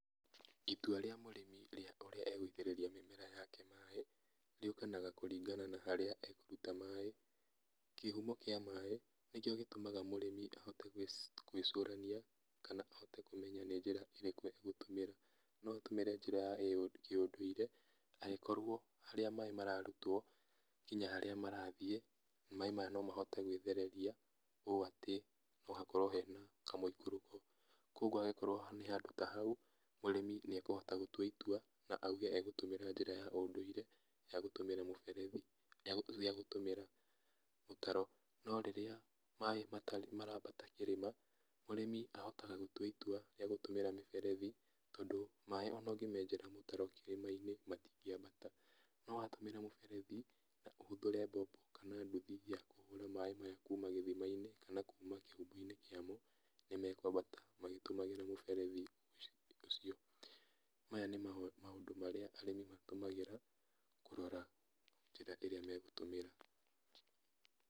Itua rĩa mũrĩmi rĩa kũrĩa egũitĩrĩria mĩmera yake maĩ rĩukanaga na kũringana na harĩa ekũruta maĩ. Kĩhumo kĩa maĩ nĩkĩo gĩtũmaga mũrĩmi ahote gwĩcũrania kana ahote kũmenya nĩ njĩra ĩrĩkũ egũtũmĩra. No atũmĩre njĩra ya kĩũndũire angĩkorwo harĩa maĩ mararutwo nginya harĩa marathiĩ maĩ maya no mahote gwĩthereria, ũũ atĩ hena kamũikũrũko. Koguo angĩkorwo nĩ handũ ta hau, mũrĩmi nĩ ekũhota gũtua itua, na oige egũtũmĩra njĩra ya ũndũire ya gũtũmĩra mũberethi, ya gũtũmĩra mũtaro. No rĩrĩa maĩ maraambata kĩrĩma mũrĩmi ahotaga gũtua itua rĩa gũtũmĩra mĩberethi, tondũ maĩ ona ũngĩmenjera mũtaro kĩrĩma-inĩ matingĩambata. No watũmĩra mũberethi na ũhũthĩre mbombo kana nduthi ya kũhũra maĩ maya kuuma gĩthima-inĩ kana kuma kĩhumo-inĩ kĩamo nĩmekwambata magĩtũmĩraga mũberethi ũcio. Maya nĩ maũndũ marĩa arĩmi matũmagĩra kũrora njĩra ĩrĩa megũtũmĩra.